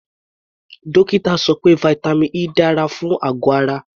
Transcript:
Dókítà sọ pé vitamin E dára fún àgọ̀ ara.